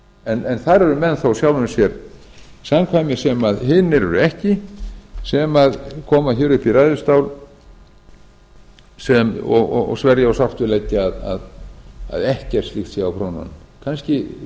en þar eru menn þó sjálfum sér samkvæmir sem hinir eru ekki sem koma hér upp í ræðustól og sverja og sárt við leggja að ekkert slíkt sé á prjónunum kannski